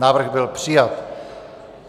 Návrh byl přijat.